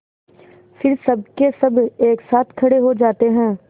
फिर सबकेसब एक साथ खड़े हो जाते हैं